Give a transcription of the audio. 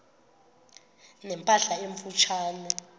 ne mpahla emfutshane